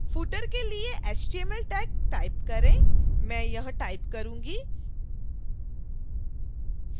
footer के लिए html tag type करें मैं यह टाइप करूंगी